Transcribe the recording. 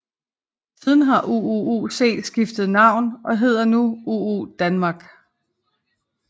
Siden har UUUC skiftet navn og hedder nu UU DANMARK